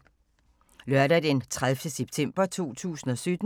Lørdag d. 30. september 2017